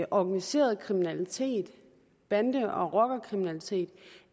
organiseret kriminalitet bande og rockerkriminalitet